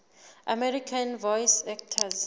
american voice actors